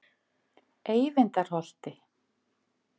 Eyvindarholti